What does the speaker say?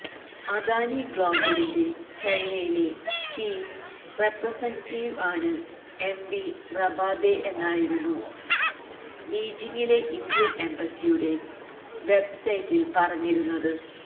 അദാനി ഗ്ലോബലിന്റെ ചൈനയിലെ chief representative ആണ് എംവി റബാദെ എന്നായിരുന്നു ബീജിംഗിലെ ഇന്ത്യന് എംബസിയുടെ വെബ്സൈറ്റില് പറഞ്ഞിരുന്നത്